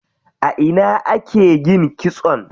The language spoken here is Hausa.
A ina ake yin kitson?